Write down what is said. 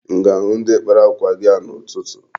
M ga-ahụ ndi kpara akwa gị a n'ụtụtụ?